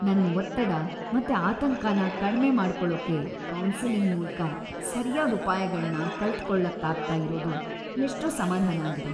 ನನ್ ಒತ್ತಡ ಮತ್ತೆ ಆತಂಕನ ಕಡ್ಮೆ ಮಾಡ್ಕೊಳೋಕೆ ಕೌನ್ಸೆಲಿಂಗ್‌ ಮೂಲ್ಕ ಸರ್ಯಾದ್‌ ಉಪಾಯಗಳ್ನ ಕಲ್ತ್‌ಕೊಳಕ್ಕಾಗ್ತಾ ಇರೋದು ಎಷ್ಟೋ ಸಮಾಧಾನ ಆಗಿದೆ.